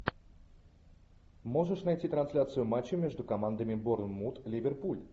можешь найти трансляцию матча между командами борнмут ливерпуль